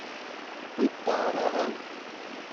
пыталово